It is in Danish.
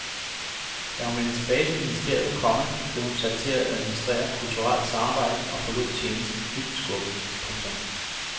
Da hun vendte tilbage til ministeriet, komma blev hun sat til at administrere kulturelt samarbejde og forlod tjenesten dybt skuffet. punktum